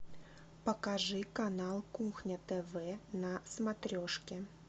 покажи канал кухня тв на смотрешке